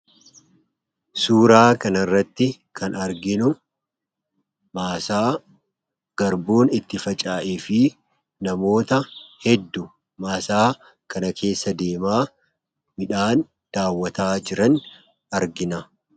suuraa kana irratti kan arginu maasaa garbuun itti facaa'e fi namoota heddu maasaa kana keessa deemaa midhaan daawwataa jiran argina